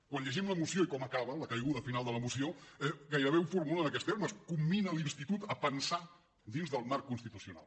quan llegim la moció i com acaba la caiguda final de la moció gairebé ho formula amb aquests termes commina l’institut a pensar dins del marc constitucional